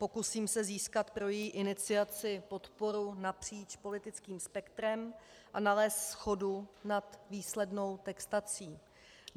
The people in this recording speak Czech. Pokusím se získat pro její iniciaci podporu napříč politickým spektrem a nalézt shodu nad výslednou textací.